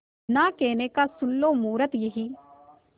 ना कहने का सुन लो मुहूर्त यही